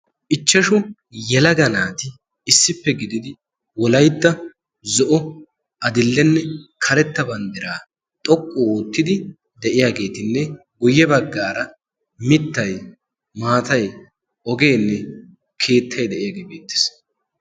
ichchashu yalaga naati issippe gididi wolaytta zo7o, adil7enne karetta banddiraa xoqqu oottidi de7iyaageetinne guyye baggaara mittay, maatay ogeenne keettay de7iyaagee beettees.